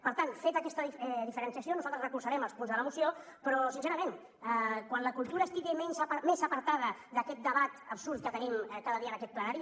per tant feta aquesta diferenciació nosaltres recolzarem els punts de la moció però sincerament quan la cultura estigui més apartada d’aquest debat absurd que tenim cada dia en aquest plenari